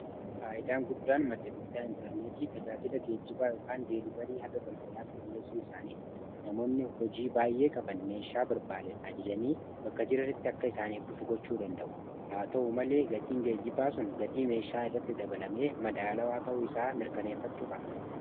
faayidaan guddaan madda bittaa intarneetii tajaajila geejjibaa yookaan deelivarii haga balbalaatti dhi'eessuu isaaniiti. namoonni hojii baay'ee qaban meeshaa barbaadan ajajanii bakka jiranitti akka isaaniif dhufu gochuu danda'u haa ta'u malee gatiin geejjibaa sun gatii meeshaa irratti dabalamee madaala waa ta'uu isaa mirkaneeffachuu qabna.